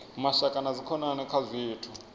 mashaka na dzikhonani kha zwithu